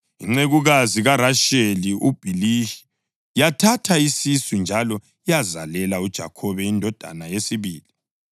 Incekukazi kaRasheli, uBhiliha, yathatha isisu njalo yazalela uJakhobe indodana yesibili.